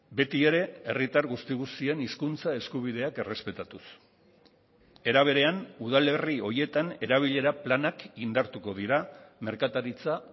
beti ere herritar guzti guztien hizkuntza eskubideak errespetatuz era berean udalerri horietan erabilera planak indartuko dira merkataritza